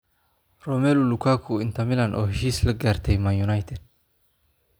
Romelu Lukaku: Inter Milan oo heshiis la gaartay Man United